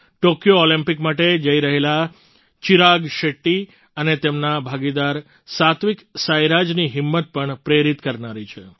Tokyo olympic માટે જઈ રહેલા ચિરાગ શેટ્ટી અને તેમના ભાગીદાર સાત્વિક સાઈરાજની હિંમત પણ પ્રેરિત કરનારી છે